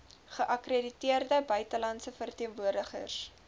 geakkrediteerde buitelandse verteenwoordigers